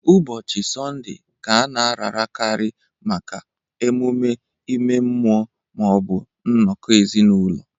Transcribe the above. Ụbọchị Sọnde Ka a na-ararakarị maka emume ime mmụọ ma ọ bụ nnọkọ ezinụlọ